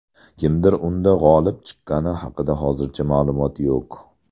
Kimdir unda g‘olib chiqqani haqida hozircha ma’lumot yo‘q.